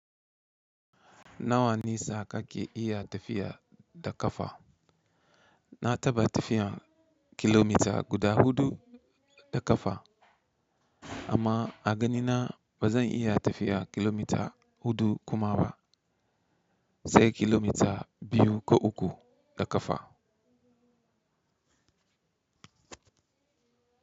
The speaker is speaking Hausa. Nawa nisa kake iya tafiya da ƙafa? Na taɓa tafiya kilomita guda huɗu da ƙafa amma a ganina ba zan iya tafiya kilomita huɗu kuma ba, sai kilomita biyu ko uku da ƙafa.